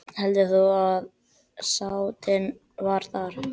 Hver heldur þú að sáttin verði þar?